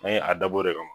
An ye a dabɔ o de kama